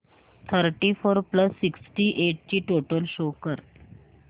thirty four plus sixty eight ची total show कर